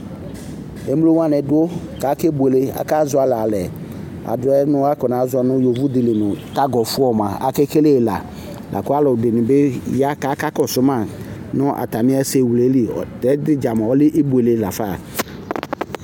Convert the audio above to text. Emlo wanɩ dʋ kʋ akebuele, akazɔɣɔlɩ alɛ, ɛdɩ yɛ nɩ kʋ akɔnazɔ nʋ yovodɩ li nʋ kagɔfɔ mʋa, akekele yɩ la, la kʋ alʋ ɛdɩnɩ bɩ ya kʋ akakɔsʋ ma, nʋ atamɩ ɛsɛwle yɛ li Tɛ ta dza mʋa ɔlɛ ibuele la fa